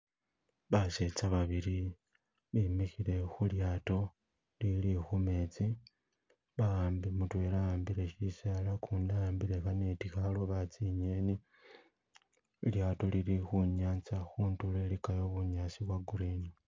Basetsa babili bimikhile khulyato lili khumetsi bahambile mutwela ahambile shisaala gundi a hambile khaneti khaloba tsinyeni lyato lili khunyanza khundulu iligayo bunyasi bwo green.